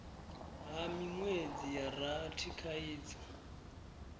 ha minwedzi ya rathi khaidzo